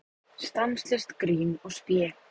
Stanslaust grín og spé.